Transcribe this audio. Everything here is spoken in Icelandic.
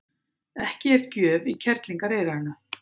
Ekki er gjöf í kerlingareyranu.